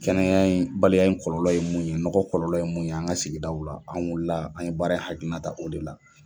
Kɛnɛya bali ya in kɔlɔlɔ ye mun ye, nɔgɔ kɔlɔlɔ ye mun ye, an ka sigidaw la, an wilila an ye baara hakilinan ta o de la.